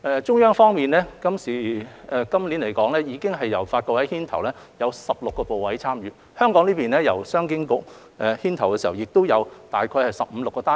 中央方面，去年由發改委牽頭，有16個部委參與；而香港方面，由商經局牽頭，亦有15至16個單位。